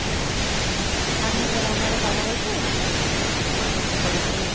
আমি যে number এ কথা বলছি এই number থেকেই order টি করেছিলাম